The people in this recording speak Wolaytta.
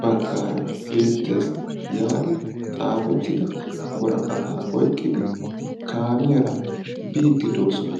baggaara beettes yaagi xaafettida woraqataa oyiqqidi kaamiyaara biiddi doosona.